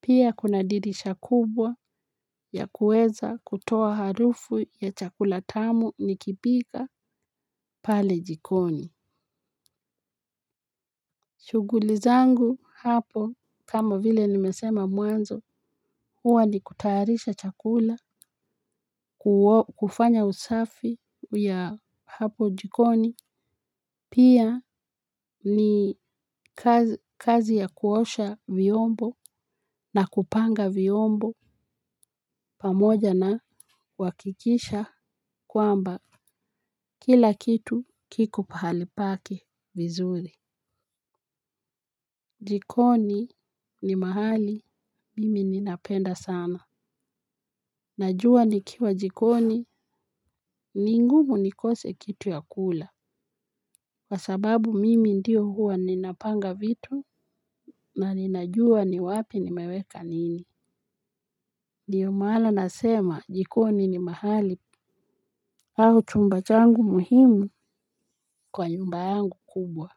Pia kuna dirisha kubwa ya kuweza kutoa harufu ya chakula tamu nikipika pale jikoni. Shughuli zangu hapo kama vile nimesema mwanzo huwa ni kutayarisha chakula kufanya usafi ya hapo jikoni. Pia ni kazi ya kuosha viyombo na kupanga viyombo pamoja na kuwakikisha kwamba kila kitu kiko pahali pake vizuri. Jikoni ni mahali mimi ninapenda sana. Najua nikiwa jikoni ningumu nikose kitu ya kula. Kwasababu mimi ndio huwa ninapanga vitu na ninajua ni wapi nimeweka nini ndiyo maana nasema jikoni ni mahali au chumba changu muhimu kwa nyumba yangu kubwa.